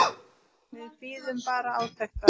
Við bíðum bara átekta.